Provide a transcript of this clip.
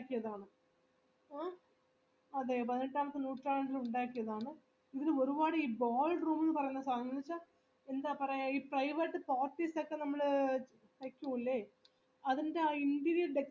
എന്താ പറയാ ഈ നമ്മള് അതിന്റെ ആ interior decoration കാണാൻ നല്ല അടിപൊളി ആരിക്കും അത്രക്ക് എന്താ grant ആരിക്കും അവിടുന്ന് നമ്മള് കാണുമ്പോ